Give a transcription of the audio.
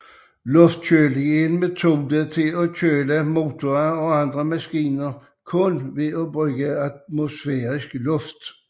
Luftkøling er en metode til at køle motorer og andre maskiner kun ved at bruge atmosfærisk luft